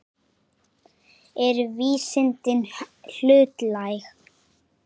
Eru vísindin hlutlæg?